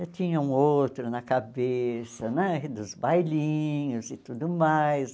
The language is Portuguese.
Eu tinha um outro na cabeça né, dos bailinhos e tudo mais.